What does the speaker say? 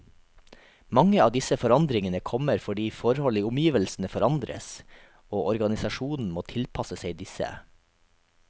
Mange av disse forandringene kommer fordi forhold i omgivelsene forandres, og organisasjonen må tilpasse seg disse.